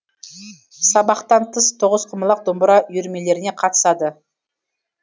сабақтан тыс тоғызқұмалақ домбыра үйірмелеріне қатысады